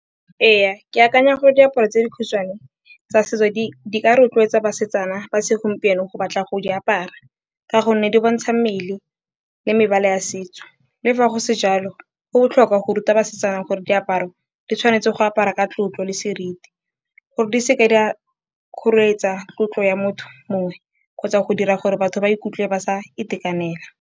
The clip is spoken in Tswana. Ee, ke akanya gore diaparo tse dikhutshwane tsa setso di ka rotloetsa basetsana ba segompieno go batla go di apara ka gonne di bontsha mmele le mebala a setso. Le fa go se jalo, go botlhokwa go ruta basetsana gore diaparo di tshwanetse go apara ka tlotlo le seriti gore di seke di a kgoretsa tlotlo ya motho mongwe kgotsa go dira gore batho ba ikutlwe ba sa itekanela.